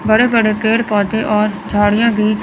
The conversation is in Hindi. बड़े बड़े पेड़ पौधे और झाड़ियां भी--